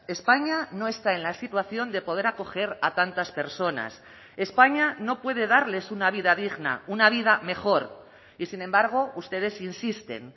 españa no está en la situación de poder acoger a tantas personas españa no puede darles una vida digna una vida mejor y sin embargo ustedes insisten